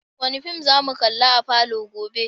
Wani fim za mu kalla a falo gobe?